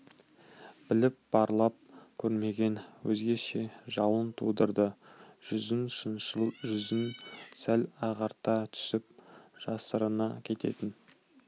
біліп барлап көрмеген өзгеше жалын тудырды жүзін шыншыл жүзін сәл ағарта түсіп жасырына кететін